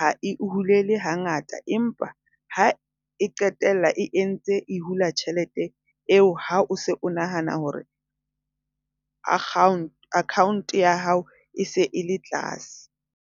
ha e hule ha ngata empa ha e qetella e entse e hula tjhelete eo ha o se o nahana hore account account ya hao e se e le tlase.